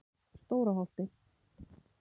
Stóra Holti